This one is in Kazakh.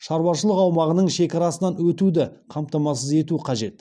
шаруашылық аумағының шекарасынан өтеуді қамтамасыз ету қажет